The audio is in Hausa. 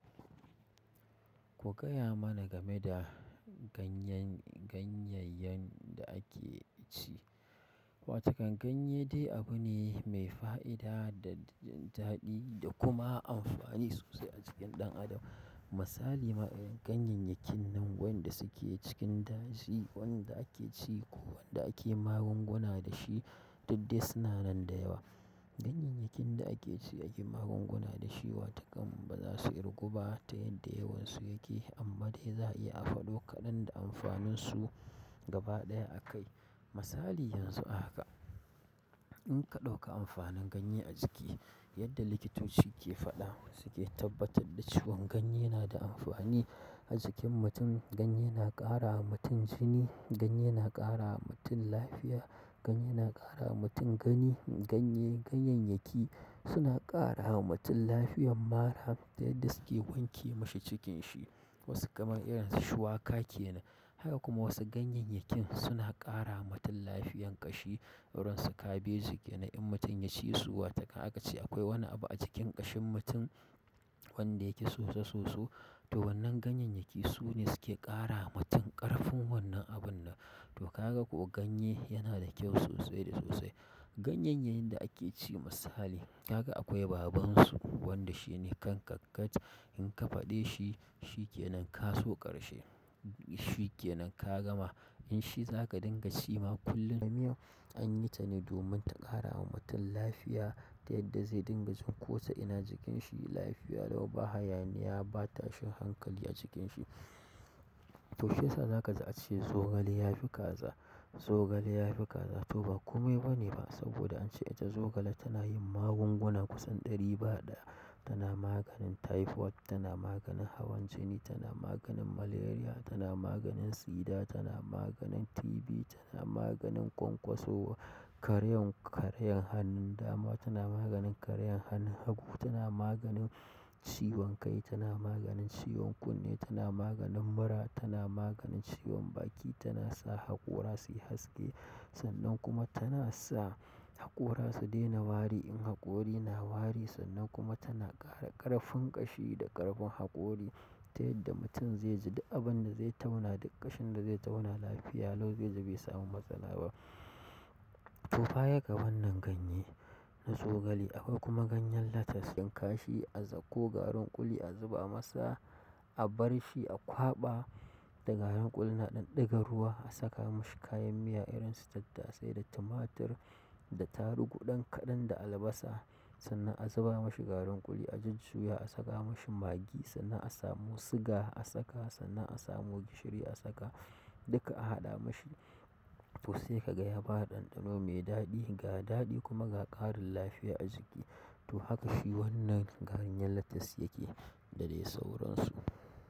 Ku gaya mana game da ganyen, ganyayyen da ake ci. Watakan ganye dai abu ne mai fa'ida da daɗi da kuma amfani sosai a cikin ɗan adam. Misali, ma irin ganyayyakin nan wanda suke cikin daji, wanda ake ci ko wanda ake magunguna da shi, duk dai suna nan da yawa. Ganyayyakin da ake ci ake magunguna da shi, watakan ba za su irguba ta yadda yawan su yake, amma dai za a iya a faɗo kaɗan da amfanin su gaba ɗaya a kai. Misali yanzu haka, in ka ɗauka amfanin ganye a jiki, yadda likitoci ke faɗa suke tabbatar da cewan ganye yana da amfani a jikin mutum. Ganye na ƙara wa mutum jini, ganye na ƙara wa mutum lafiya, ganye na ƙara wa mutum gani. Ganye, ganyayyaki suna ƙara wa mutum lafiyan mara ta yadda suke wanke mashi cikin shi. Wasu kamar irin su shuwaka ke nan. Haka kuma wasu ganyayyakin suna ƙara wa mutum lafiyar ƙashi irin su kabeji ke nan in mutum ya ci su, watakan aka ce akwai wani abu a cikin ƙashin mutum wanda yake soso-soso. To wannan ganyayyaki su ne suke ƙara wa mutum ƙarfin wannan abin nan. To kaga ko ganye yana da kyau sosai da sosai. Ganyayyayin da ake ci misali, kaga akwai babansu wanda shi ne kankankat. In ka faɗe shi, shikenan kazo ƙarshe. Shi ke nan ka gama. In shi za ka dinga ci ma kullum da miyar, anyi ta ne domin ta ƙara wa mutum lafiya ta yadda zai dinga jin kota ina jikin shi. Lafiya lau ba hayaniya ba tashin hankali a cikin shi. To shiyasa zaka ji ace zogale ya fi kaza. Zogale ya fi kaza, to ba komai bane ba, saboda ance ita zogale tana yin magunguna kusan ɗari ba ɗaya. Tana maganin typhoid, tana maganin hawan jini, tana maganin malaria, tana maganin sida, tana maganin TB, tana maganin kwankwasowa, karayar karayar hannun dama, tana maganin karayar hannun hagu, tana maganin ciwon kai, tana maganin ciwon kunne, tana maganin mura, tana maganin ciwon baki, tana sa haƙora su yi haske. Sannan kuma tana sa haƙora su daina wari in haƙori na wari. Sannan kuma tana ƙara ƙarfin ƙashi da ƙarfin haƙori ta yadda mutum zai ji da abun da zai tauna duk ƙashin da zai tauna lafiya lau zaiji bai samu matsala ba. Tofa ya ga wannan ganye na zogale. Akwai kuma ganyen lettuce. In kashi a zako garin kuli a zuba masa, a bar shi a kwaɓa. Da garin kulin nan a ɗan ɗiga ruwa a saka mashi kayan miya irin su tattasai da tumatir da tarugu ɗan kaɗan da albasa. Sannan a zuba mashi garin ƙuli a jajjisuya a saka mashi magi. Sannan a samu sugar a saka, sannan a samo gishiri a saka. Duka a haɗa mashi. To sai ka ga ya bada ɗanɗano mai daɗi ga daɗi kuma ga ƙarin lafiya a jiki. To haka shi wannan ganyen lettuce yake, dadai sauransu.